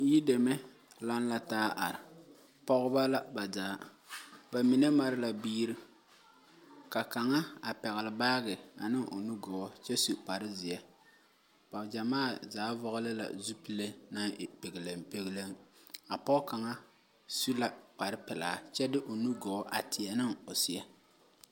Yideme laŋe la taa are pɔgeba la zaa ba mine mare la biiri kaŋa. a pɛgele. baage kyɛ su kparre zeɛ, ba gyɛmaa zaa vɔgeli la zupile naŋ e pegelen pegelen a pɔge kaŋa su la kparre. pɛlaa kyɛ de o nugɔɔ a teɛ ne o seɛ.